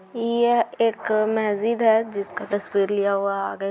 यह एक मस्जिद है जिसका तस्वीर लिया हुआ है आगे --